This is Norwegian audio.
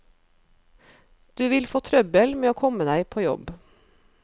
Du vil få trøbbel med å komme deg på jobb.